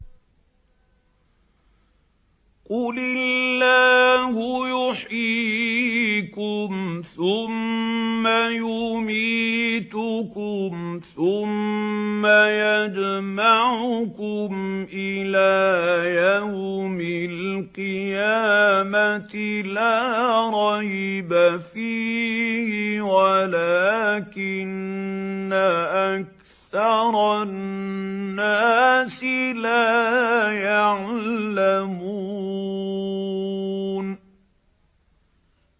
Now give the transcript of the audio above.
قُلِ اللَّهُ يُحْيِيكُمْ ثُمَّ يُمِيتُكُمْ ثُمَّ يَجْمَعُكُمْ إِلَىٰ يَوْمِ الْقِيَامَةِ لَا رَيْبَ فِيهِ وَلَٰكِنَّ أَكْثَرَ النَّاسِ لَا يَعْلَمُونَ